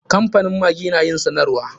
Kamfanin maggi na yin sanarwa.